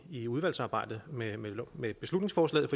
i udvalgsarbejdet med med beslutningsforslaget